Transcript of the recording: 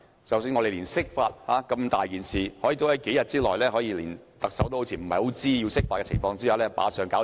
即使釋法那麼重大的事情，似乎亦可以在特首不太知情的情況下在數天內完成。